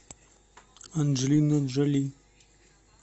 анджелина джоли